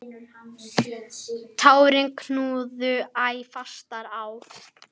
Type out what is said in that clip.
Tárin knúðu æ fastar á.